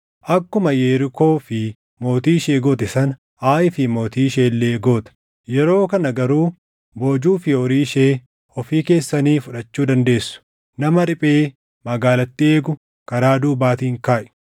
Akkuma Yerikoo fi mootii ishee goote sana, Aayii fi mootii ishee illee goota; yeroo kana garuu boojuu fi horii ishee ofii keessanii fudhachuu dandeessu. Nama riphee magaalattii eegu karaa duubaatiin kaaʼi.”